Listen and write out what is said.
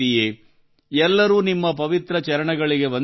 ಎಲ್ಲರೂ ನಿಮ್ಮ ಪವಿತ್ರ ಚರಣಗಳಿಗೆ ವಂದಿಸುತ್ತಾರೆ